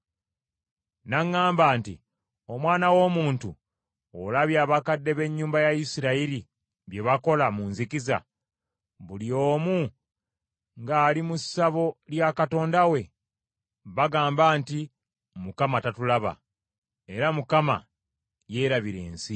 N’aŋŋamba nti, “Omwana w’omuntu, olabye abakadde b’ennyumba ya Isirayiri bye bakola mu nzikiza, buli omu ng’ali mu ssabo lya katonda we? Bagamba nti, ‘ Mukama tatulaba, era Mukama yeerabira ensi.’ ”